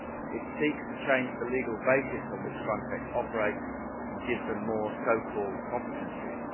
It seeks to change the legal basis on which FRONTEX operates and gives it more so called competences.